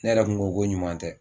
Ne yɛrɛ kun ko ko ɲuman tɛ